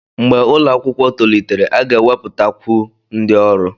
Mgbe ụlọ akwụkwọ tolitere, a ga-ewepụtakwu ndị ọrụ.